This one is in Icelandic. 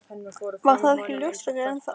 Varð það ekki ljóst fyrr en þá.